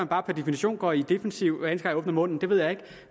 bare per definition går i defensiven hver jeg åbner munden det ved jeg ikke